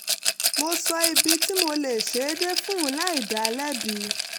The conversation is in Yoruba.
mo sọ ibi tí mo lè ṣe é dé fún un láì dá a lẹ́bi